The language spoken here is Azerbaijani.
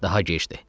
Daha gecdir.